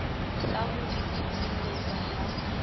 sa ho di tshireletsa ha